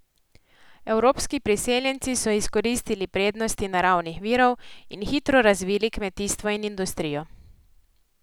Evropski priseljenci so izkoristili prednosti naravnih virov in hitro razvili kmetijstvo in industrijo.